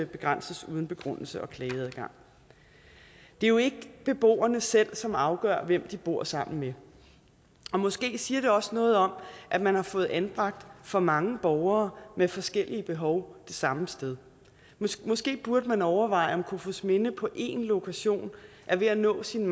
begrænses uden begrundelse eller klageadgang det er jo ikke beboerne selv som afgør hvem de bor sammen med måske siger det også noget om at man har fået anbragt for mange borgere med forskellige behov det samme sted måske måske burde man overveje om kofoedsminde på én lokation er ved at nå sin